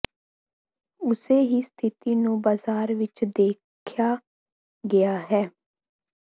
ਉਸੇ ਹੀ ਸਥਿਤੀ ਨੂੰ ਬਾਜ਼ਾਰ ਵਿਚ ਦੇਖਿਆ ਗਿਆ ਹੈ